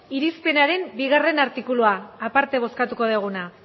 irizpenaren bigarren artikulua aparte bozkatuko duguna